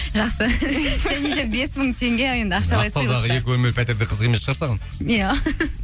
жақсы және де бес мың теңге екі бөлмелі пәтер де қызық емес шығар саған иә